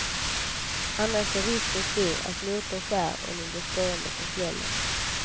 Annars är risken stor att motorn skär och ni blir stående på fjället.